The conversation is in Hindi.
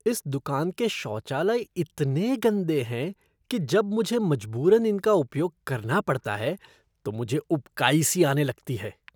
इस दुकान के शौचालय इतने गंदे हैं कि जब मुझे मजबूरन इनका उपयोग करना पड़ता है तो मुझे उबकाई सी आने लगती है।